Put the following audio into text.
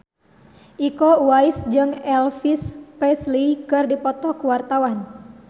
Iko Uwais jeung Elvis Presley keur dipoto ku wartawan